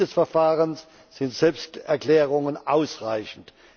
Zu Beginn des Verfahrens sind Selbsterklärungen ausreichend.